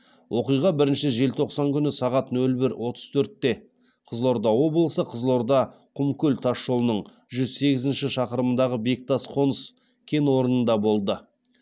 оқиға бірінші желтоқсан күні сағат нөл бір отыз төртте қызылорда облысы қызылорда құмкөл тас жолының жүз сегізінші шақырымындағы бектас қоныс кен орнында болды